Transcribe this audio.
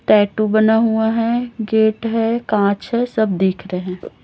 Tattoo बना हुआ है गेट है कांच है सब दिख रहे हैं।